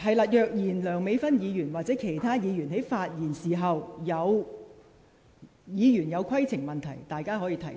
在梁美芬議員或其他議員發言時，議員如有規程問題，屆時可以提出。